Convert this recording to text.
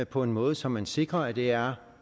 på en måde så man sikrer at det er